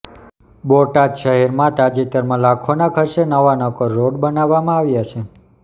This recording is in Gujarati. બોટાદ શહેરમાં તાજેતરમાં લાખોના ખર્ચે નવા નક્કોર રોડ બનાવવામાં આવ્યા છે